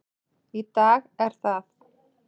Í dag er það